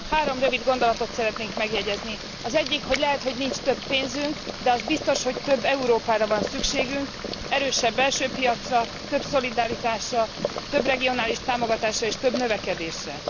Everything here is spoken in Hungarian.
Három rövid gondolatot szeretnék megjegyezni az egyik, hogy lehet, hogy nincs több pénzünk, de az biztos, hogy több Európára van szükségünk, erősebb belső piacra, több szolidaritásra, több regionális támogatásra és több növekedésre.